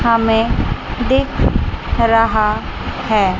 हमें देख रहा है।